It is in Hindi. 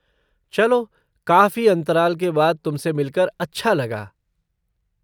चलो, काफ़ी अंतराल के बाद तुम से मिलकर अच्छा लगा।